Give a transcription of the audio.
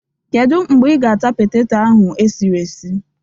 Kedu mgbe ị ga-ata poteto ahụ esiri esi?